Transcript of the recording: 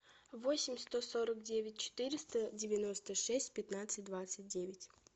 восемь сто сорок девять четыреста девяносто шесть пятнадцать двадцать девять